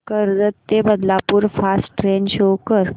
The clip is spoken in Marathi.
कर्जत ते बदलापूर फास्ट ट्रेन शो कर